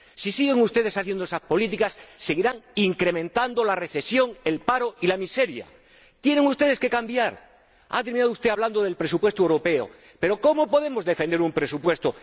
Si siguen ustedes haciendo las mismas políticas, seguirán incrementando la recesión, el paro y la miseria. Tienen ustedes que cambiar. Ha terminado usted hablando del presupuesto europeo, pero, ¿cómo podemos defender un presupuesto?